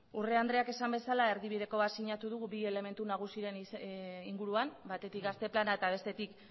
urrea andreak esan bezala erdibidekoa sinatu dugu bi elementu nagusiren inguruan batetik gazte plana eta bestetik